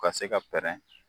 Ka se ka pɛrɛn.